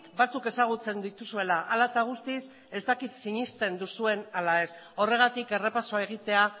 batzuk ezagutzen dituzuela hala eta guztiz ez dakit sinesten duzuen ala ez horregatik errepasoa egitea